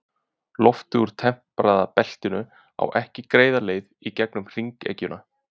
Loftið úr tempraða beltinu á ekki greiða leið í gegnum hringekjuna.